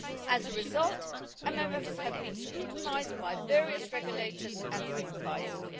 As a result, MMFs have been scrutinised by various regulators and supervisors.